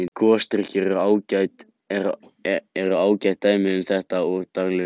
Gosdrykkir eru ágætt dæmi um þetta úr daglegu lífi.